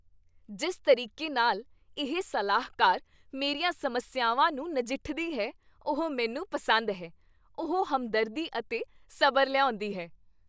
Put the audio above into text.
ਜਿਸ ਤਰੀਕੇ ਨਾਲ ਇਹ ਸਲਾਹਕਾਰ ਮੇਰੀਆਂ ਸਮੱਸਿਆਵਾਂ ਨਾਲ ਨਜਿੱਠਦੀ ਹੈ, ਉਹ ਮੈਨੂੰ ਪਸੰਦ ਹੈ। ਉਹ ਹਮਦਰਦੀ ਅਤੇ ਸਬਰ ਲਿਆਉਂਦੀ ਹੈ।